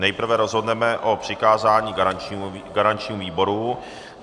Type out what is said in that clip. Nejprve rozhodneme o přikázání garančnímu výboru.